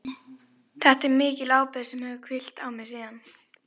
Þetta er mikil ábyrgð sem hefur hvílt á mér síðan.